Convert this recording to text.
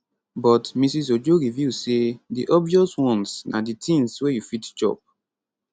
but mrs ojo reveal say di obvious ones na di tins wey you fit chop